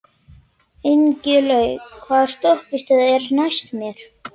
Ingilaug, hvaða stoppistöð er næst mér?